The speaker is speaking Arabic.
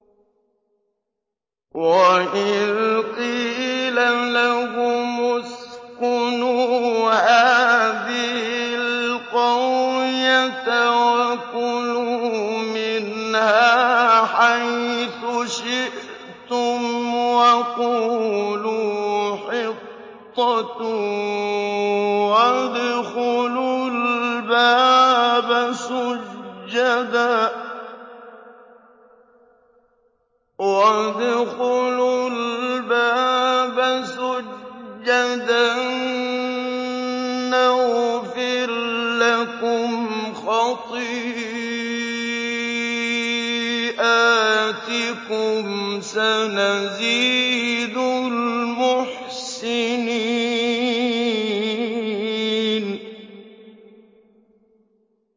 وَإِذْ قِيلَ لَهُمُ اسْكُنُوا هَٰذِهِ الْقَرْيَةَ وَكُلُوا مِنْهَا حَيْثُ شِئْتُمْ وَقُولُوا حِطَّةٌ وَادْخُلُوا الْبَابَ سُجَّدًا نَّغْفِرْ لَكُمْ خَطِيئَاتِكُمْ ۚ سَنَزِيدُ الْمُحْسِنِينَ